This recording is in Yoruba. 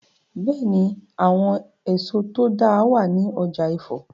Bẹ́è ni, àwọn èso tó dáa wàá ní ọ̀jà Ifọ̀.